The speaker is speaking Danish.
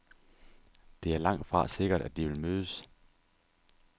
Det er langtfra sikkert, at de vil mødes.